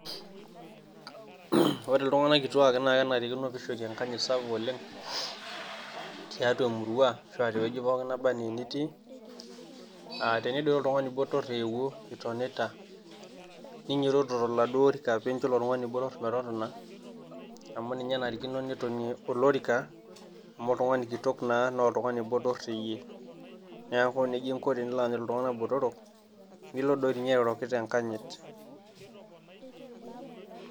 Ore iltung`anak kituaak naa kenarikino neishori enkanyit sapuk oleng, tiatua e murua arashu te wueji pookin nitii. Aa tenidol oltung`ani botor eewuo itonita, ninyitoto tolorika pee injo ilo tung`ani botor metotona. Amu ninye enarikino metotonie olorika amu oltung`ani kitok naa oltung`ani botorr te yie. Niaku neijia inko tenilo aanyit iltung`anak botorok nilo doi ninye airoroki te nkanyit.